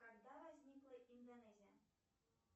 когда возникла индонезия